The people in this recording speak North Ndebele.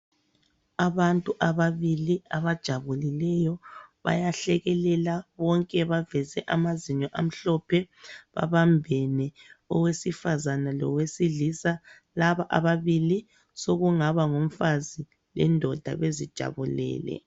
Abantu ababili abajabulileyo, bayahlekelela bonke baveze amazinyo amhlophe babambene. Owesifazane lowesilisa, laba ababili sokungaba ngumfazi lendoda bezijabulele.